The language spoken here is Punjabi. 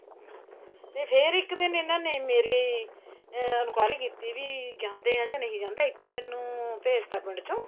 ਤੇ ਫੇਰ ਇੱਕ ਦਿਨ ਇਹਨਾ ਨੇ ਮੇਰੀ ਅਹ enquiry ਕੀਤੀ ਵੀ ਜਾਂਦੇ ਏ ਜਾਂ ਨਹੀਂ ਜਾਂਦੇ ਇੱਥੋ ਮੈਨੂੰ ਭੇਜਤਾ ਪਿੰਡ ਚੋ